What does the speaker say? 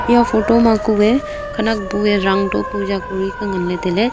eya photo ma kue khanak bue rang to puja koriley ngan ley tailey.